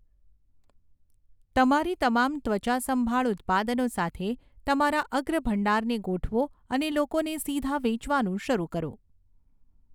તમારી તમામ ત્વચા સંભાળ ઉત્પાદનો સાથે તમારા અગ્રભંડારને ગોઠવો અને લોકોને સીધા વેચવાનું શરૂ કરો.